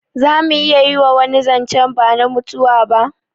Zamu iya wani zancen bana mutuwa ba?